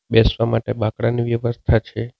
બેસવા માટે બાકડાની વ્યવસ્થા છે.